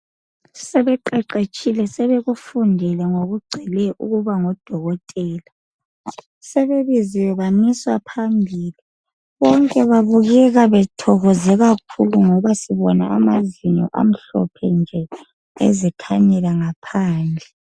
Sebeqeqetshile, sebekufundile ngokugcweleyo ukubangodokotela. Sebebiziwe bamiswa phambili. Bonke babukeka bethokoze kakhulu ngoba sibona amazinyo amhlophe nje ezikhanyela ngaphandle.